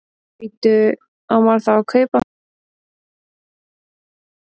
Bíddu. á maður þá að kaupa miða beint á undanúrslitin?